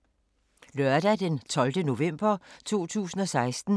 Lørdag d. 12. november 2016